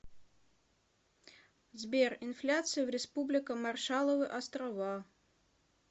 сбер инфляция в республика маршалловы острова